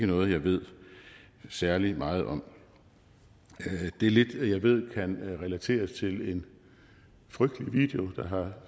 noget jeg ved særlig meget om det lidt jeg ved kan relateres til en frygtelig video der har